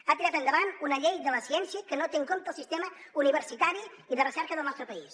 ha tirat endavant una llei de la ciència que no té en compte el sistema universitari i de recerca del nostre país